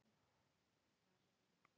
SAMTÖKIN FAGNA AFMÆLI